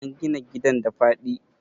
an gina gidan da faɗi?